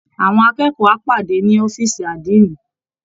Àwọn akẹ́kọ̀ọ́ á pàdé ni ọ̀fíìsì Àdínì